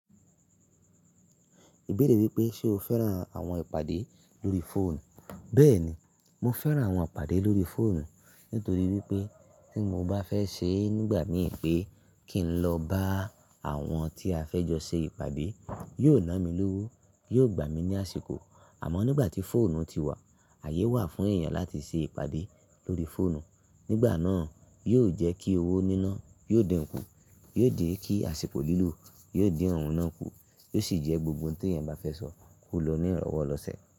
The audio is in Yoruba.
Ìbéèrè wípé ṣe o fẹ́ràn àwọn ìpàdé lórí fóònù? Bẹ́ẹ̀ni, mo fẹ́ràn àwọn ìpàdé lórí fóònù nítorí wípé tí mo bá fẹ́ ṣe nígbà mì pé kí n lọ bá àwọn tí a fẹ́ jọ ṣe ìpàdé, yóò ná mi lówó, yóò gbà mí ní àsìkò. Àmọ́ nígbà tí fóònù ti wà, àyè wà fún èèyàn láti ṣe ìpàdé lórí fóònù. Nígbà náà, yóò jẹ́ kí owó níná, yóò dín kù, yóò dí kí àsìkò lílù, yóò dín òun náà kù, yóò sì jẹ́ gbogbo ohun tí ẹ̀yàn bá fẹ́ sọ, kò lọ ní ìrọ̀wọ́ lọ sẹ̀